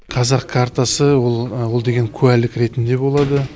қазақ картасы ол ол деген куәлік ретінде болады